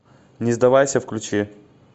не сдавайся включи